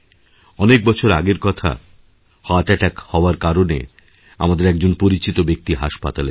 অনেক বছর আগের কথা হার্ট অ্যাটাক হওয়ার কারণে আমাদের একজনপরিচিত ব্যক্তি হাসপাতালে ছিলেন